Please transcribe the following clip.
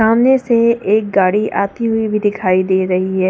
सामने से एक गाड़ी आती हुई भी दिखाई दे रही है।